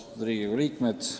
Austatud Riigikogu liikmed!